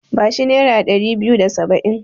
Ba shi nera ɗari biyu da saba'in.